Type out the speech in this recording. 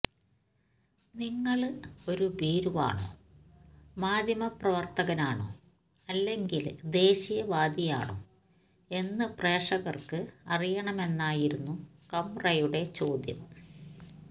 നിങ്ങള് ഒരു ഭീരുവാണോ മാധ്യമപ്രവര്ത്തകനാണോ അല്ലെങ്കില് ദേശീയവാദിയാണോ എന്ന് പ്രേക്ഷകര്ക്ക് അറിയണമെന്നായിരുന്നു കംറയുടെ ചോദ്യം